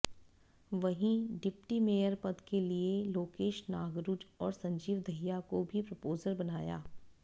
वहीं deputy mayor पद के लिए लोकेश नांगरू और संजीव दहिया को भी प्रपोजर बनाया